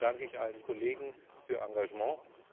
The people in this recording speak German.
Insofern danke ich allen Kollegen für ihr Engagement.